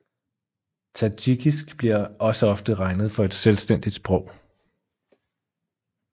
Tadsjikisk bliver også ofte regnet for et selvstændigt sprog